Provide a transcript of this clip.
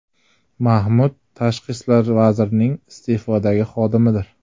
Mahmud Tashqi ishlar vazirligining iste’fodagi xodimidir.